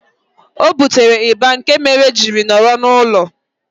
Ọ butere ịba nke mere jiri nọrọ n'ulo